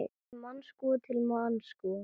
Til Moskvu, til Moskvu!